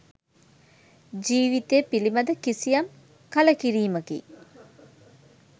ජීවිතය පිළිබඳ කිසියම් කළකිරීමකි.